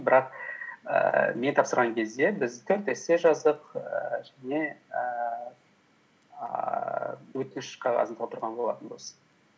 бірақ ііі мен тапсырған кезде біз төрт эссе жаздық ііі және ііі өтініш қағазын толтырған болатынбыз